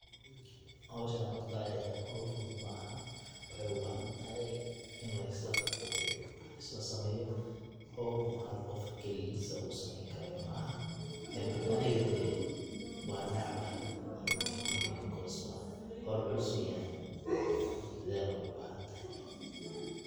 Howshan horta howl fuduud maaha waxaay ubahantahay in lislaqabto de wax lasla sameeyo howl hal qoof kaligiis oo sameeyni karayo maha ee marka aniga de wa necbahaay runti because howl culuus waye dadhalna way ubahantahay.